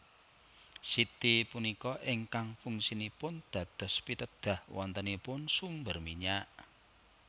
Siti punika ingkang fungsinipun dados pitedah wontenipun sumber minyak